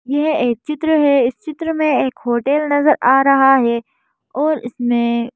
यह एक चित्र है इस चित्र में एक होटल नजर आ रहा है और इसमें--